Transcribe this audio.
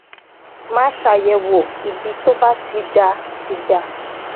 máa ṣàyèwò ibi tó bá ti dà ti dà